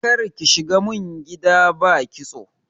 Karki shigo min gida ba kitso.